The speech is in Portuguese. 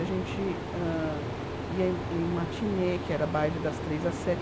A gente hã ia ia em matinê, que era baile das três às sete.